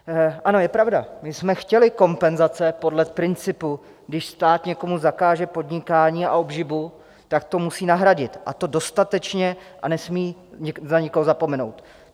Ano, je pravda, že jsme chtěli kompenzace podle principu, když stát někomu zakáže podnikání a obživu, tak to musí nahradit, a to dostatečně a nesmí na nikoho zapomenout.